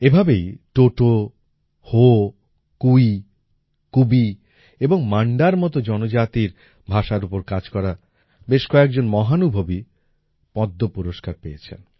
এভাবেই টোটো হো কুই কুবী এবং মাণ্ডার মত জনজাতির ভাষার উপর কাজ করা বেশ কয়েকজন মহানুভবী পদ্ম পুরস্কার পেয়েছেন